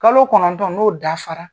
Kalo kɔnɔntɔn n'o dafara